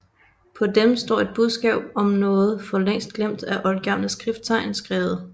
På dem står et budskab om noget for længst glemt af oldgamle skrifttegn skrevet